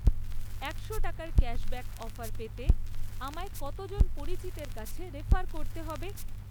একশো টাকার cashback offer পেতে আমায় কতজন পরিচিতের কাছে রেফার করতে হবে?